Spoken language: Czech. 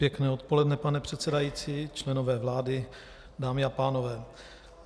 Pěkné odpoledne, pane předsedající, členové vlády, dámy a pánové.